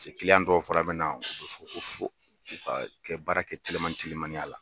dɔw fana bɛ na fo ka baara kɛ telimani telimaniya la.